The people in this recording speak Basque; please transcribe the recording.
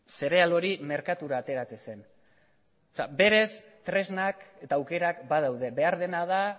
zereal hori merkatura ateratzen zen beraz tresnak eta aukerak badaude behar dena da